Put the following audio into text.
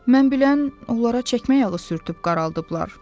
Mən bilən onlara çəkmə yağı sürtüb qaraldıblar.